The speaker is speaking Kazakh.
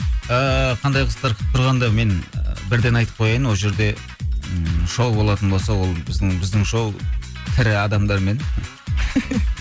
ыыы қандай қызықтар күтіп тұрғанда мен бірден айтып қояйын ол жерде ыыы шоу болатын болса ол біздің біздің шоу тірі адамдармен